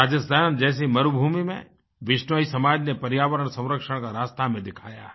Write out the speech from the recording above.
राजस्थान जैसी मरुभूमि में बिश्नोई समाज ने पर्यावरण संरक्षण का रास्ता हमें दिखाया है